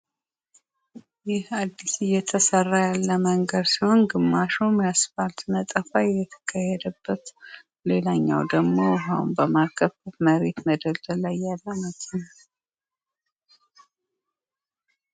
ይህ አዲስ እየተሰራ ያለ መንገድ ሲሆን ግማሹ የአስፓልት ነጠፋ ከሄደበት ሌላኛው ደግሞ በማርከፍከፍ መሬት መደብደብ ያለ መኪና